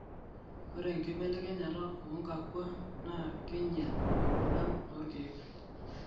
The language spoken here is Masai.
ore enkibelekenyata oonkakua naa keinyel embulan oorkiek